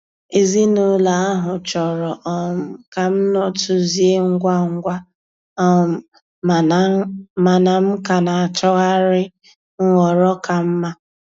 Ezinụlọ ahụ chọrọ um ka m nọtuzie ngwa ngwa, um mana m ka na-achọgharị nhọrọ ka mma.